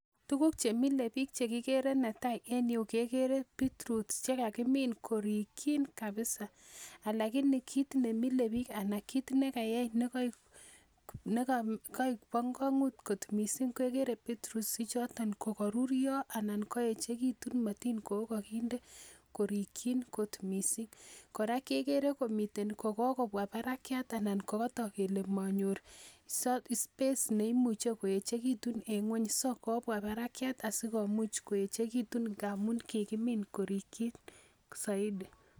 Tuguk chemile biik chekikere ko netai en yuu kekere beetroots chekakimin korikyin kabisa alakini kit nemile biik kit nekayai nekoik bo kwong'ut kot missing ko ikere beetroots ichoton kokoruryo anan koechekitun matin kokokinde korikyin kot missing kora kekere kokokobwa barakiat ana kokotok kele monyor space neimuche koeechekitun en ng'weny so kobwa barakiat asikomuch koechekitun ngamun kikimin korikyin soiti